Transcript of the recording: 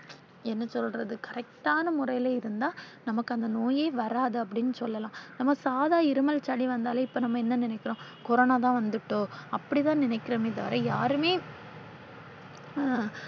என்ன சொல்றது correct ஆனா முறையில இருந்தா நமக்கு அந்த நோயே வராது அப்படின்னு சொல்லலாம். நாம சாதா இருமல், சளி வந்தாலே இப்ப நாம என்ன நினைக்கிறோம் கொரோனாதான் வந்துட்டோ அப்படி தான் நினைக்கிறோமே தவிர யாருமே